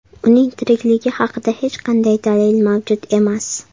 Uning tirikligi haqida hech qanday dalil mavjud emas.